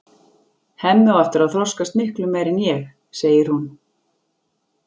Hemmi á eftir að þroskast miklu meira en ég, segir hún.